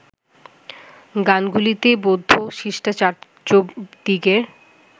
গানগুলিতে বৌদ্ধ সিদ্ধাচার্য্যদিগের